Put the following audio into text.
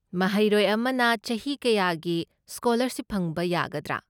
ꯃꯍꯩꯔꯣꯏ ꯑꯃꯅ ꯆꯍꯤ ꯀꯌꯥꯒꯤ ꯁ꯭ꯀꯣꯂꯔꯁꯤꯞ ꯐꯪꯕ ꯌꯥꯒꯗ꯭ꯔꯥ?